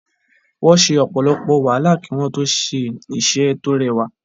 Wọ́n se ọ̀pọ̀lọpọ̀ wàhálà kí wọ́n tó ṣe iṣẹ́ tó rẹwà.